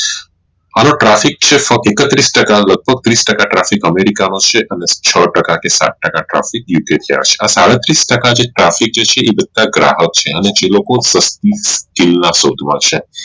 આનો Traffic છે એકત્રીશ ટકા લાગભાં ત્રીશ ટકા Traffic america નો છે અને છ ટકા કે સાત ટકા Traffic આ સાડત્રીશ ટકા Traffic જે છે આ બધા ગ્રાહક નો છે અને જે લોકો ના શોધ માં છે